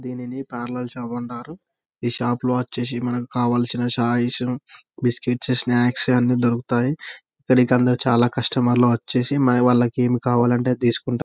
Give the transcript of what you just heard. దీనిని parlour shop అంటారు. ఈ షాపు లో వచ్చేసి మనకి కావల్సిని ఛాయిస్ బిస్క్యూట్స్ స్నాక్స్ అన్ని దొరుకుతాయి. ఇక్కడకి అందరు చాలా కస్టమర్స్ వచ్చేసి మరి వాళ్లకి ఎం కావాలంటే అవి తీసుకుంటా --